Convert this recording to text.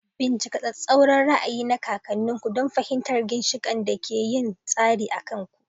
Bincika tsattsauran ra'ayi na kakanninku don fahimtar ginshiƙan da ke yin tasiri a kan ku.